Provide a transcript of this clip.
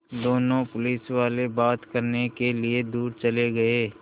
दोनों पुलिसवाले बात करने के लिए दूर चले गए